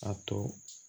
A to